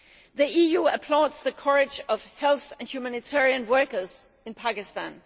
The EU applauds the courage of health and humanitarian workers in Pakistan.